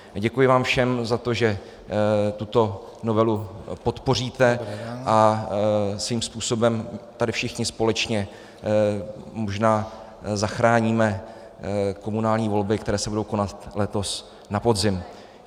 Děkuji vám všem za to, že tuto novelu podpoříte a svým způsobem tady všichni společně možná zachráníme komunální volby, které se budou konat letos na podzim.